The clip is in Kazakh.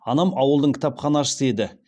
анам ауылдың кітапханашысы еді